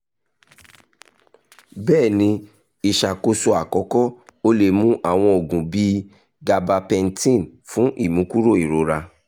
bẹ́ẹ̀ ni iṣakoso akọkọ o le mu awọn oogun bii gabapentin fun imukuro irora